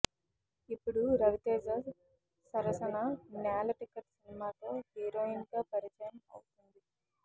ఇప్పుడు రవితేజ సరసన నేల టికెట్ సినిమాతో హీరోయిన్ గా పరిచయం అవుతోంది